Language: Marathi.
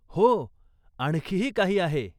हो. आणखीही काही आहे.